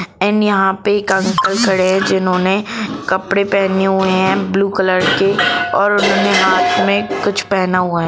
And यहां एक uncle खड़े है जिन्होंने कपड़े पहने हुए है ब्लू कलर के और उन्होंने हाथ में कुछ पहना हुआ है ।